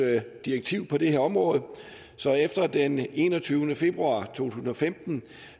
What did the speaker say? direktiv på det her område så efter den enogtyvende februar to tusind og femten